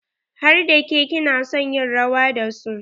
Har da ke ki na son yin rawa da su?